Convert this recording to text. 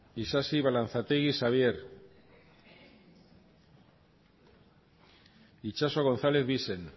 isasi balanzategi xabier itxaso gonzález bixen